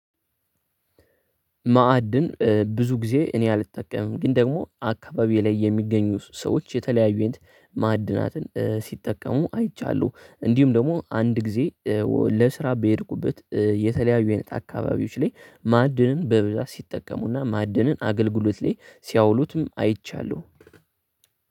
ማዕድን ብዙ ጊዜ እኔ አልጠቀምም ግን ደግሞ አካባቢ ላይ የሚገኙ ሰዎች የተለያዩ አይነት ማዕድናትን ሲጠቀሙ አይቻለሁ። እንዲሁም ደግሞ አንድ ጊዜ ለስራ በሄድኩበት የተለያዩ አይነት አካባቢዎች ላይ ማዕድንን በብዛት ሲጠቀሙና ማዕድንን አገልግሎት ላይ ሲያውሉትም አይቻለሁ።